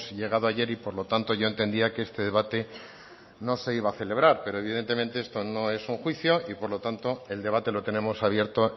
llegado ayer y por lo tanto yo entendía que este debate no se iba a celebrar pero evidentemente esto no es un juicio y por lo tanto el debate lo tenemos abierto